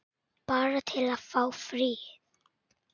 Bara til að fá frið.